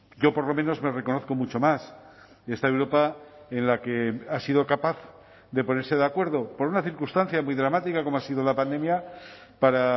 yo por lo menos me reconozco mucho más esta europa en la que ha sido capaz de ponerse de acuerdo por una circunstancia muy dramática como ha sido la pandemia para